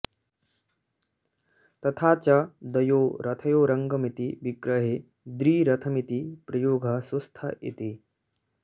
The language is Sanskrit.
तथा च द्वयो रथयोरङ्गमिति विग्रहे द्रिरथमिति प्रयोगः सुस्थ इति